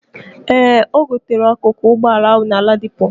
Ee, ogotere akuku ụgbọ ala ahu na Ladipo.